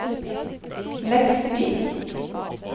Leksvik